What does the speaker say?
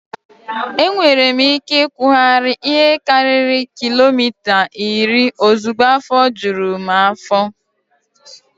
Enwere m ike ịkụgharị ihe karịrị kilomita iri ozugbo afọ juru m afọ.